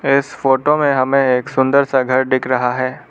इस फोटो में हमें एक सुंदर सा घर दिख रहा है।